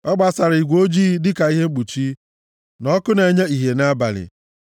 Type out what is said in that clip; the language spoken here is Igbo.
Ọ gbasara igwe ojii dịka ihe mkpuchi, na ọkụ na-enye ìhè nʼabalị.